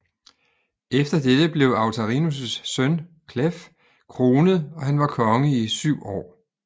Efter dette blev Autarinus søn af Cleph kronet og han var konge i syv år